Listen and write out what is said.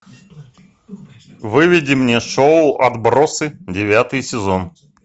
выведи мне шоу отбросы девятый сезон